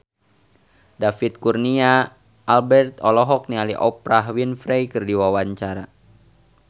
David Kurnia Albert olohok ningali Oprah Winfrey keur diwawancara